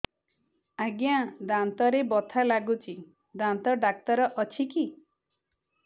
ଆଜ୍ଞା ଦାନ୍ତରେ ବଥା ଲାଗୁଚି ଦାନ୍ତ ଡାକ୍ତର ଅଛି କି